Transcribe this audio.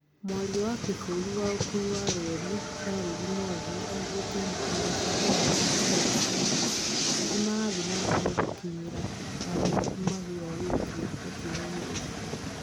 Mwaria wa kĩbũrũri wa ũkui wa reri Charles Mwangi augĩte maabitha a ũhonokania nĩmarathiĩ na mbere gũkinyĩra aria magurarĩtio mũtino-inĩ ũcio